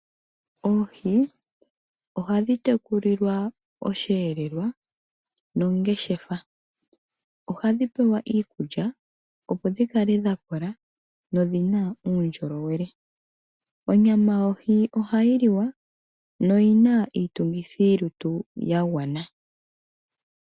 Oohi oha dhi tekulilwa osheelelwa noongeshefa, ohadhi pewa iikulya opo dhikale dhakola, dho odhina uundjolowele. Onyama yoohi ohayi liwa no yina iitungithi yo lutu ya gwana.